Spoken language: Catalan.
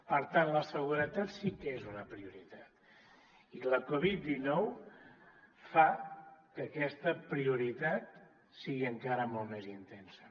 per tant la seguretat sí que és una prioritat i la covid dinou fa que aquesta prioritat sigui encara molt més intensa